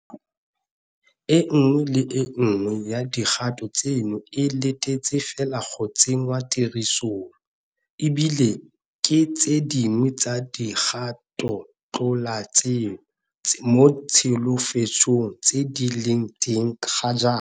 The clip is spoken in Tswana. E nngwe le e nngwe ya dikgato tseno e letetse fela go tsenngwa tirisong, e bile ke tse dingwe tsa dikgatotlaleletso mo ditsholofetsong tse di leng teng ga jaana.